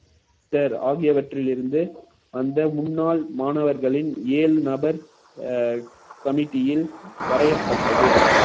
ஆகியவற்றிலிருந்து அந்த முன்னாள் மாணவர்களின் ஏழு நபர் அஹ் committee ல் வரையப்பட்டது